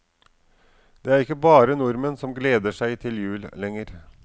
Det er ikke bare nordmenn som gleder seg til jul lenger.